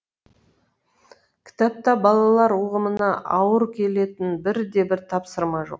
кітапта балалар ұғымына ауыр келетін бірде бір тапсырма жоқ